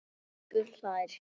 Stubbur hlær.